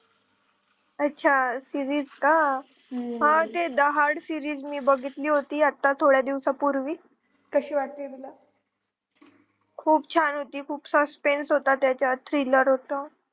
अच्छा series का हा ते series मी बघीतली होती थोड्या दिवसापूर्वी खूप छान होती खूप suspense होत त्याचात thriller होत